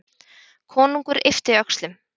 Konungur yppti öxlum.